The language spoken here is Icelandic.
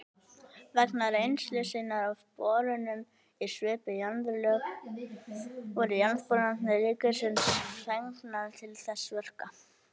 Vegna reynslu sinnar af borunum í svipuð jarðlög voru Jarðboranir ríkisins fengnar til þessara verka.